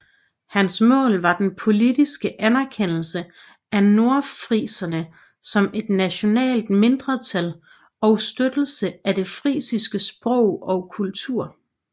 Hans mål var den politiske anerkendelse af nordfriserne som et nationalt mindretal og støttelse af det frisiske sprog og kultur